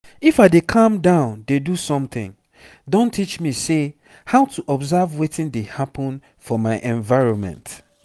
if i dey calm down dey do something don teach me say how to observe wetin dey happen for my environment